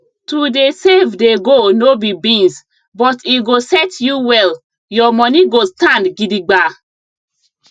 to dey save dey go no be beans but e go set you well your money go stand gidigba